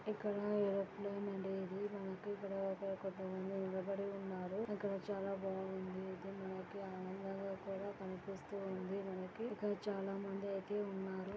ఇక్కడ ఎయిర్ప్లేన్ అనేది మనకి తర్వాత కొంత మంది నిలబడి ఉన్నారు అక్కడ చాలా బాగా ఉంది ఐతే నోకియా అనేది కనిపిస్తుంది అక్కడ చాలా మంది ఐతే ఉన్నారు.